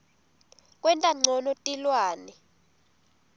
kwenta ncono tilwane